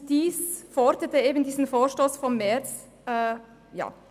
Eben diese forderte der Vorstoss vom März 2018.